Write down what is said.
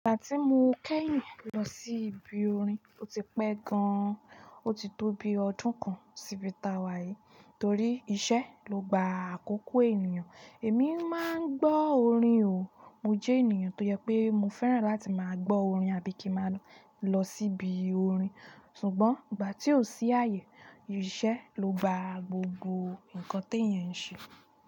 Ìgbà tí mo kẹ́yìn lọ sí ibi orin, ó ti pẹ́ gan-an, ó ti tó bi ọdún kan síbi tàwà yìí. Torí iṣẹ́ ló gba àkókò ènìyàn. Èmi máa ń gbọ́ orin o, mo jẹ́ ènìyàn tó jẹ pé mo fẹ́ràn láti máa gbọ́ orin àbí kí máa lọ síbi orin. Ṣùgbọ́n ìgbà tí ò sí àyè, iṣẹ́ ló gba gbogbo ǹkan teyan ń ṣe.